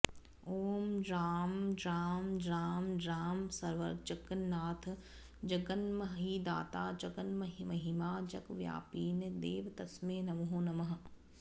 ॐ ज्रां ज्रां ज्रां ज्रां सर्वजगन्नाथ जगन्महीदाता जग्न्महिमा जगव्यापिने देव तस्मै नमो नमः